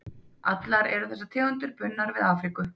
Allar eru þessar tegundir bundnar við Afríku.